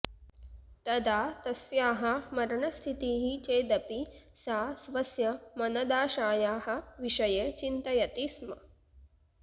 तदा तस्याः मरणस्थितिः चेदपि सा स्वस्य मनदाशायाः विषये चिन्तयति स्म